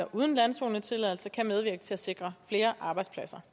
uden landzonetilladelse kan medvirke til at sikre flere arbejdspladser